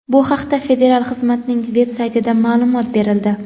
Bu haqda federal xizmatning veb-saytida ma’lumot berildi.